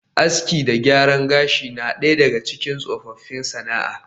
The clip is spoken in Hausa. Aski da gyaran gashi na daya daga cikin tsofaffin sana’a